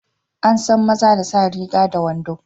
Ansan maza da sa riga da wando.